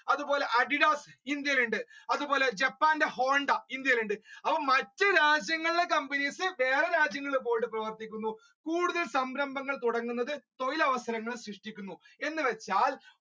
അതുപോലെ Adidas ഇന്ത്യയിൽ ഉണ്ട് അതുപോലെ ജപ്പാന്റെ ഹോണ്ട ഇന്ത്യയിൽ ഉണ്ട് അപ്പൊ മറ്റ് രാജ്യങ്ങളെ companies വേറെ രാജ്യങ്ങളിൽ പോകുന്നു കൂടുതൽ സംരംഭങ്ങൾ തുടങ്ങുന്നത് തൊഴിലവസരങ്ങൾ സൃഷ്ടിക്കുന്നു എന്നു വെച്ചാൽ